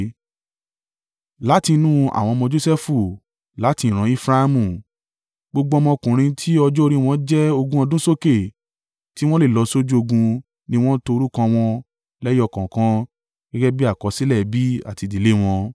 Láti inú àwọn ọmọ Josẹfu. Láti ìran Efraimu, gbogbo ọmọkùnrin tí ọjọ́ orí wọ́n jẹ́ ogún ọdún sókè tí wọ́n lè lọ sójú ogun ni wọ́n to orúkọ wọn lẹ́yọ kọ̀ọ̀kan gẹ́gẹ́ bí àkọsílẹ̀ ẹbí àti ìdílé wọn.